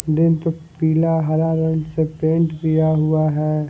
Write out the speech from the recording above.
पीला हरा रंग से पेंट किया हुआ है।